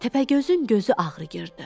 Təpəgözün gözü ağrıyırdı.